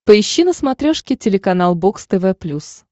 поищи на смотрешке телеканал бокс тв плюс